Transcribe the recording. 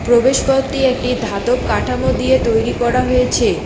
প্রবেশ পথটি একটি ধাতব কাঠামো দিয়ে তৈরি করা হয়েছে।